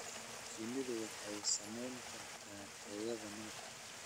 Shinnidu waxay saamayn kartaa tayada malabka.